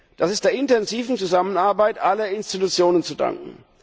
Das ist der intensiven Zusammenarbeit aller Institutionen zu danken.